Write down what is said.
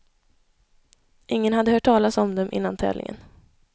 Ingen hade hört talas om dem innan tävlingen.